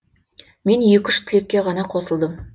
мен екі үш тілекке ғана қосылдым